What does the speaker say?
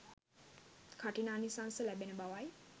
කඨිනානිසංස ලැබෙන බවයි.